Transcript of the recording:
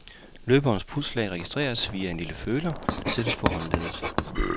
Løberens pulsslag registreres via en lille føler, der sættes på håndleddet.